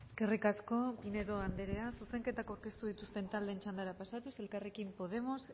eskerrik asko pinedo andrea zuzenketak aurkeztu dituzten taldeen txandara pasatuz elkarrekin podemos